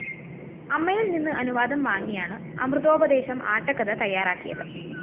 അമ്മയില്‍ നിന്ന് അനുവാദം വാങ്ങിയാണ് അമൃതോപദേശം ആട്ടക്കഥ തയാറാക്കിയത്